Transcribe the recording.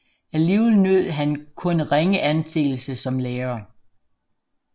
Alligevel nød han kun ringe anseelse som lærer